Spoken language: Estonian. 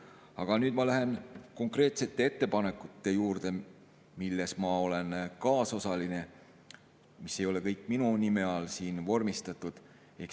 Aga nüüd ma lähen konkreetsete ettepanekute juurde, mille ma olen kaasosaline ja mis ei ole kõik minu nime all vormistatud.